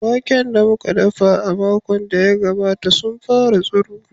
Waken da muka noma a makon da ya gabata sun fara tsiro.